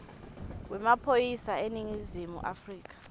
wemaphoyisa eningizimu afrika